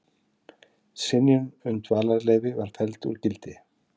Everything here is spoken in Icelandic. Synjun um dvalarleyfi felld úr gildi